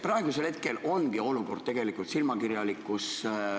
Praegu ongi olukord silmakirjalik.